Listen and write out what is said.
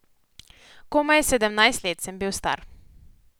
Komaj sedemnajst let sem bil star.